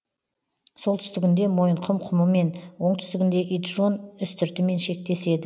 солтүстігінде мойынқұм құмымен оңтүстігінде итжон үстіртімен шектеседі